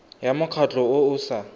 ya mokgatlho o o sa